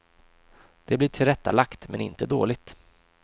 Det blir tillrättalagt, men inte dåligt.